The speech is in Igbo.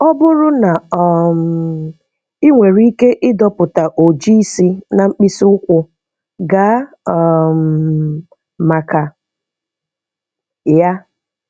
Ọ bụrụ na um ị nwere ike ịdọpụ oji isi na mkpịsị ụkwụ, gaa um maka ya